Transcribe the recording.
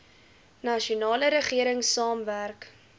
nasionale regering saamwerk